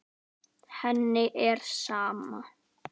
Henni er sama.